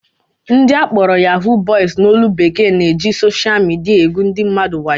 Ndị akpọrọ "Yahoo boys" n'olu bekee na-eji sosha midia egwu ndị mmadụ wayo